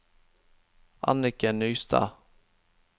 Anniken Nystad